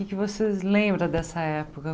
O que é que você lembra dessa época?